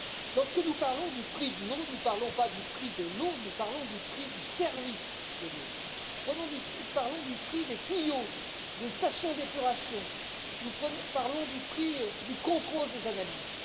Lorsque nous parlons du prix de l'eau, nous ne parlons pas du prix de l'eau, nous parlons du prix du service de l'eau, nous parlons du prix des tuyaux, du prix des stations d'épuration, nous parlons du prix du contrôle des analyses.